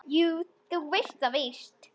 Jú, þú veist það víst.